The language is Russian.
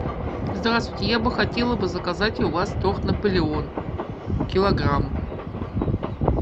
здравствуйте я бы хотела бы заказать у вас торт наполеон килограмм